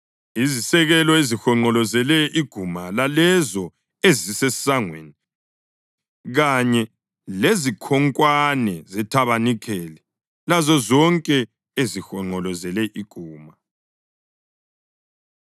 izisekelo ezihonqolozele iguma lalezo ezisesangweni kanye lezikhonkwane zethabanikeli lazozonke ezihonqolozele iguma.